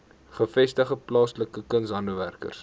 gevestigde plaaslike kunshandwerkers